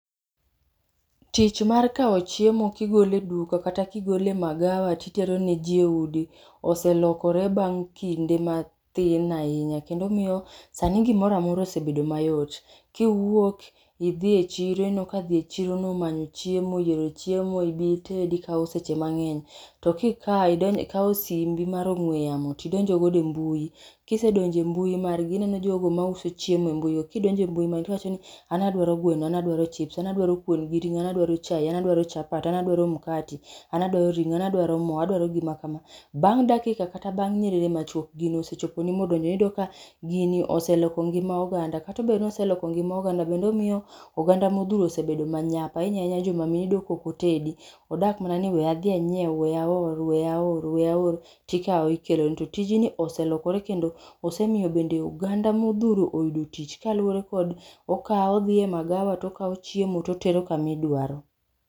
Tich mar kawo chiemo kigolo e duka kata kigole magawa titerone ji e udi oselokore bang' kinde mathin ahinya kendo miyo sani gimoroamora osebedo mayot. Kiwuok idhi e chiro ineno ka dhi e chirono manyo chiemo yiero chiemo ibi itedi kawo seche mang'eny. To kikawo simbi mar ong'we yamo tidonjogodo e mbui. Kisedonjo e mbui margi ineno jogo ma uso chiemo e mbuigo kidonjo e mbui margi tiwacho ni: an adwaro gweno, an adwaro chips an adwaro kuon gi ring'o an adwaro chae, an adwaero chapat, an adwaro mkati an adwaro ring'o an adwaro mo. adwaro gima kama. Bang' dakika kata bang' nyiriri machuok gino osechoponi modonjo iyudo ka gini oseloko ngima oganda. Kata obedo ni oseloko ngima oganda kendo omiyo oganda modhuro osebedo manyap ahinya ahinya joma mine iyudo kokotedi odak mna ni we adhi anyiew weya aor weya aor weya aor tikawo ikeloni to ytijni oselokore kendo osemiyo bende oganda modhuro oyudo tich kaluwore kod okawo odhi e magawa tokawo chiemo totero kaidwaro.